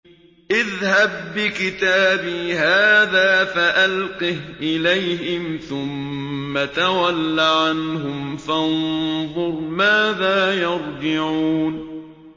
اذْهَب بِّكِتَابِي هَٰذَا فَأَلْقِهْ إِلَيْهِمْ ثُمَّ تَوَلَّ عَنْهُمْ فَانظُرْ مَاذَا يَرْجِعُونَ